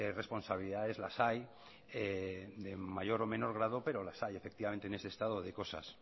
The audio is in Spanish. responsabilidades las hay de mayor o menos grado pero las hay efectivamente en este estado de cosas